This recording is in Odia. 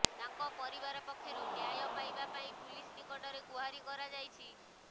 ତାଙ୍କ ପରିବାର ପକ୍ଷରୁ ନ୍ୟାୟ ପାଇବା ପାଇଁ ପୁଲିସ ନିକଟରେ ଗୁହାରୀ କରାଯାଇଛି